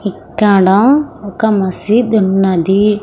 ఇక్కడ ఒక్క మసీద్ ఉన్నది.